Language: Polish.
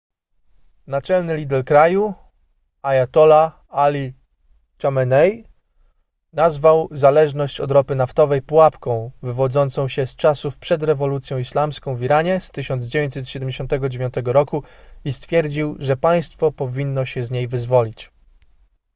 naczelny lider kraju ajatollah ali chamenei nazwał zależność od ropy naftowej pułapką wywodzącą się z czasów przed rewolucją islamską w iranie z 1979 roku i stwierdził że państwo powinno się z niej wyzwolić